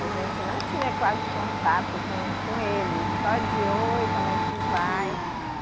A gente não tinha quase contato com, com eles, só de oi, como é que vai.